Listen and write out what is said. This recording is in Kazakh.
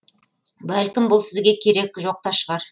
бәлкім бұл сізге керек жоқ та шығар